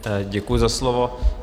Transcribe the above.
Děkuji za slovo.